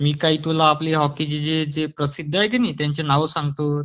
मी तुला काही आपल्या हॉकीचे प्रसिद्ध आहेत की नाही त्यांची नावे सांगतो